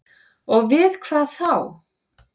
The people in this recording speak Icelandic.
Og við hvað þá?